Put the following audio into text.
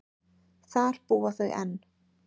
Þar búa þau enn.